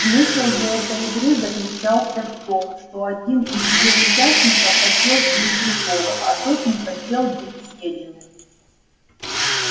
смысл же этой игры заключался в том что один из её участников хотел съесть другого а тот не хотел быть съеденным